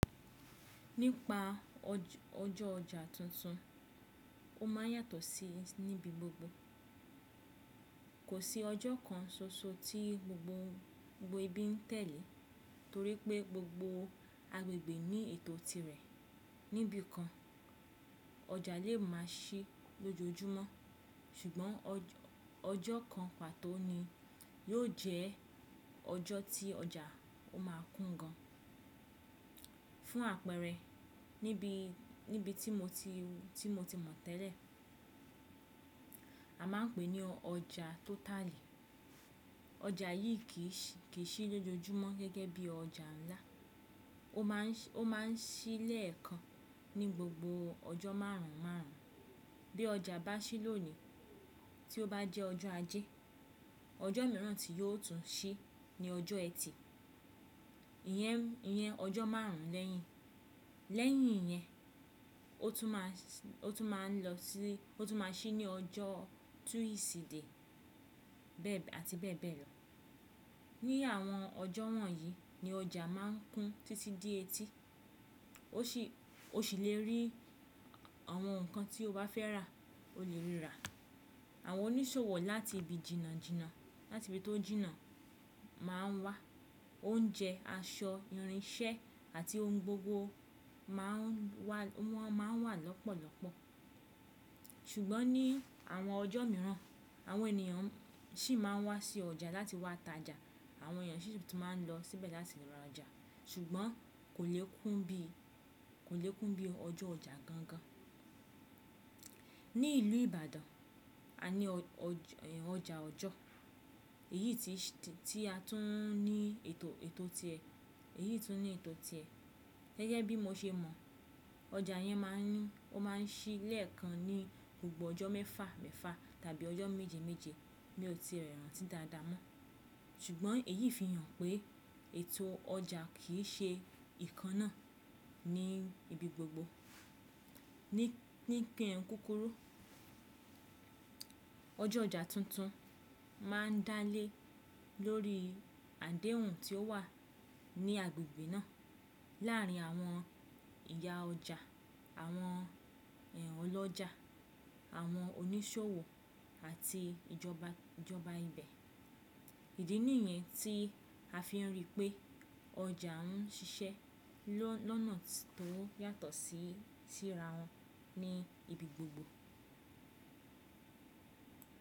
Nípa ọjọ́ ọjà tuntun, ó má ń yàtọ̀ sí níbi gbogbo. Kò sí ọjọ́ kan ṣoṣo tí gbogbo gbogbo ibi ń tẹ̀lé torí pé gbogbo agbègbè ní ètò tirẹ̀. Níbi kan ọjà lè má sí lójoojúmọ́ ṣùgbọ́n ọjọ́ kan pàtó ni yóò jẹ́ ọjọ́ tí ọjà ó má kún gan. Fún àpẹẹrẹ, níbi tí mo ti mọ̀ tẹ́lẹ̀, a máa ń pè ní ọjà tótàlì. Ọjà yìí kì í ṣí lójoojúmọ́ gẹ́gẹ́ bí ọjà ńlá. Ó mà n Ó má ń ṣí lẹ́ẹ̀kan ní gbogbo ọjọ́ márùnún márùnún. Bí ọjà bá ṣí lónìí tí ó bá jẹ́ ọjọ́ ajé, ọjọ́ mìíràn tí yóò tún ṣí ni ọjọ́ ẹtì. Iyẹn ọjọ́ márùnún lẹ́yìn. Lẹ́yìn iyẹn, ó tún má ń lọ sí, ó tún má ń ṣí ní ọjọ́ túnìsídé àti bẹ́ẹ̀ bẹ́ẹ̀ lọ. Ni àwọn ọjọ́ wọ̀nyí ní ọjà má ń kún títí di etí. O sì le rí àwọn nǹkan tí o bá fẹ́ rà, o le rí rà. Àwọn oníṣòwò láti ibi jìnnà jìnnà láti ibi tó jìnnà má ń wá. Oúnjẹ, aṣọ, irinṣẹ́ àti ohun gbogbo má ń wà lọ́pọ̀lọ́pọ̀. Ṣùgbọ́n ní àwọn ọjọ́ mìíràn àwọn ènìyàn sì má ń wá sí ọjà láti wá ta ọjà. Àwọn èyàn sì ti má ń lọ síbẹ̀ láti ra ọjà ṣùgbọ́n kò le kún bí ọjọ́ ọjà gangan. Ní ìlú Ìbàdàn, a ní ọjà ọjọ́ èyí tí a tún ní ètò ti ẹ. Gẹ́gẹ́ bí mo ṣe mọ̀ ọjà yẹn má ń ò mà n ṣí lẹ́ẹ̀kan ní gbogbo ọjọ́ mẹ́fà mẹ́fà tàbí ọjọ́ méje méje. Mi ò tí é rántí dáadáa mọ́. Ṣùgbọ́n èyí fi hàn pé ètò ọjà kì í ṣe ìkan náà ní ibi gbogbo. Ní kin kúkúrú, ọjọ́ ọjà tuntun má ń dálé lórí àdéhùn tí ó wà ní agbègbè náà láàrin àwọn ìyá ọjà, àwọn è n ọlọ́jà, àwọn oníṣòwò àti ìjọba ijóba ibẹ̀. Ìdí nìyẹn tí a fi ń rí pé ọjà ń ṣiṣẹ́ lọ́nà tó yàtọ̀ sí sira wọn ní ibi gbogbo.